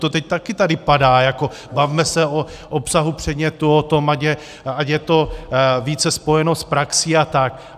To teď tady taky padá, jako bavme se o obsahu předmětu, o tom, ať je to více spojeno s praxí a tak.